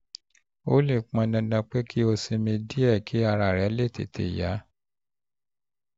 ó lè pọn dandan pé kó o sinmi sinmi díẹ̀ kí ara rẹ lè tètè yá